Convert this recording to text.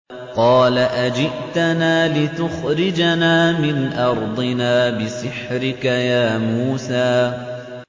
قَالَ أَجِئْتَنَا لِتُخْرِجَنَا مِنْ أَرْضِنَا بِسِحْرِكَ يَا مُوسَىٰ